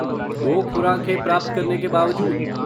दो खुराकें प्राप्त करने के बावजूद?